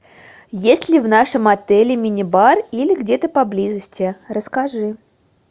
есть ли в нашем отеле мини бар или где то поблизости расскажи